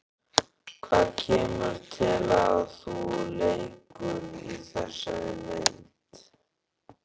Hvað kemur til að þú leikur í þessari mynd?